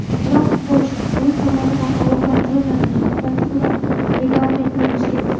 Biroq futbolchilar klub tomonidan ogohlantirilmagan, oqibatda ular reglamentni buzgan.